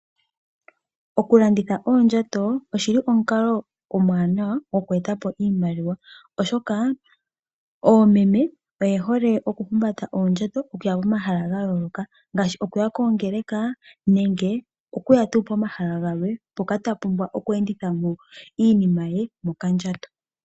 Oku landitha oondjato oshili omukalo omwaanawa gokweetapo iimaliwa, oshoka oomeme oye hole okuhumbata oondjato okuya pomahala gayooloka ngaashi okuya koongeleka nenge okuya tuu pomahala galwe mpoka ta pumbwa oku enditha mo iinima ye mokandjato.